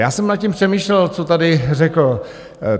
Já jsem nad tím přemýšlel, co tady řekl.